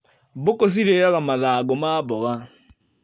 Mbũkũ cirĩaga mathango ma maboga.